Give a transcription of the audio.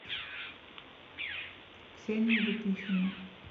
ксения лепихина